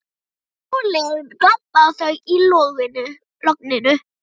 Sólin glampaði á þau í logninu.